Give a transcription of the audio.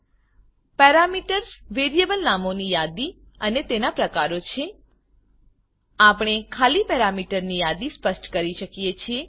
parameters variable નામોની યાદી અને તેના પ્રકારો છે આપણે ખાલી પેરામીટરની યાદી સ્પષ્ટ કરી શકીએ છે